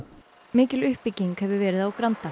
mikil uppbygging hefur verið á Granda